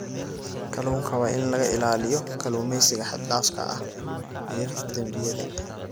Kalluunka waa in laga ilaaliyo kalluumeysiga xad dhaafka ah iyo dembiyada.